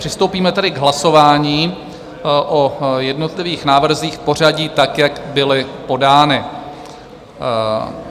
Přistoupíme tedy k hlasování o jednotlivých návrzích v pořadí tak, jak byly podány.